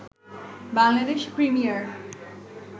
Bangladesh premier